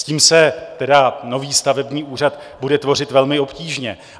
S tím se tedy nový stavební úřad bude tvořit velmi obtížně.